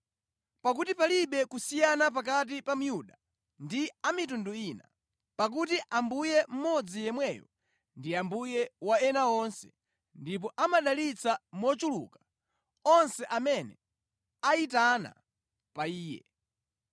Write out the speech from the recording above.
Pakuti palibe kusiyana pakati pa Myuda ndi a mitundu ina, pakuti Ambuye mmodzi yemweyo ndi Ambuye wa onse ndipo amadalitsa mochuluka onse amene ayitana pa Iye